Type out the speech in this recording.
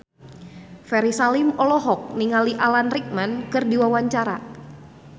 Ferry Salim olohok ningali Alan Rickman keur diwawancara